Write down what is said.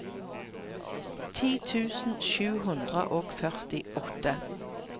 ti tusen sju hundre og førtiåtte